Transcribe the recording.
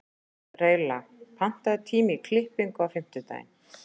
Reyla, pantaðu tíma í klippingu á fimmtudaginn.